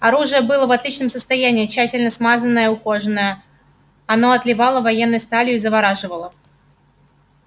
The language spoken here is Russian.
оружие было в отличном состоянии тщательно смазанное и ухоженное оно отливало военной сталью и завораживало